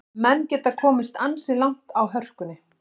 Menn geta komist ansi langt á hörkunni.